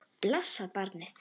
Blessað barnið.